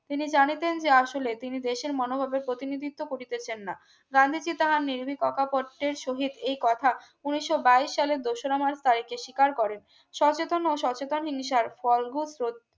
তিনি জানিতেন যে আসলে তিনি দেশের মনোভাবের প্রতিনিধিত্ব করিতেছেন না গান্ধীজি তাহার নির্ভী ক কা পট্টের সহিত এই কথা উন্নিশো বাইশ সালের দোসরা মার্চ তারিখে স্বীকার করেন সচেতন ও সচেতন হিংসার ফল